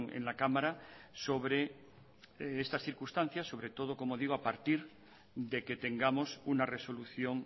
en la cámara sobre estas circunstancias sobre todo como digo a partir de que tengamos una resolución